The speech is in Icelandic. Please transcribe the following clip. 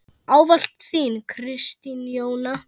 Ávallt þín, Kristín Jóna.